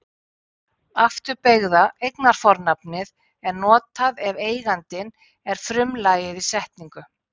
Afturbeygða eignarfornafnið er notað ef eigandinn er frumlagið í setningu.